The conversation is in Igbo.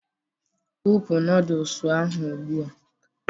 wụpụ noodolus ahụ ugbu a!